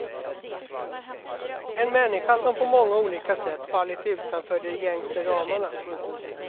En människa som på många olika sätt fallit utanför de gängse ramarna.